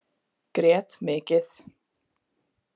Grét mikið.